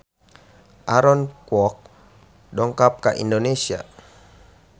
Aaron Kwok dongkap ka Indonesia